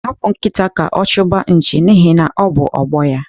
Hapụ nkịta ka ọ chụba nchi n'ihi na ọ bụ ọgbọ ya.